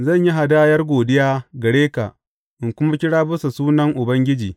Zan yi hadayar godiya gare ka in kuma kira bisa sunan Ubangiji.